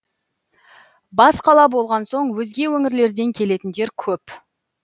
бас қала болған соң өзге өңірлерден келетіндер көп